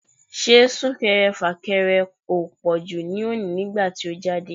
Ṣé Sún-kẹrẹ-fà-kẹrẹ ò pọ̀jù lónìí nígbà tí ó jáde?